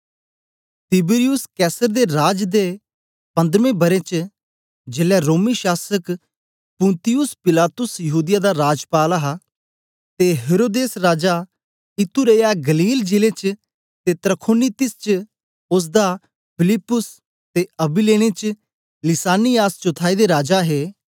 Tiberius Caesar दे राज दे पन्द्रमें बरें च जेलै रोमी शासक पुन्तियुस पिलातुस यहूदीया दा राजपाल हा ते हेरोदेस राजा इतूरैया गलील जिले च ते त्रखोनीतिस च ओसदा प्रा फिलिप्पुस ते अबिलेने च लिसानियास चौथाई दे राजा हे